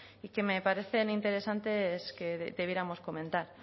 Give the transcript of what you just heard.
y que me parecen interesantes que debiéramos comentar